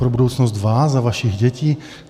Pro budoucnost vás a vašich dětí?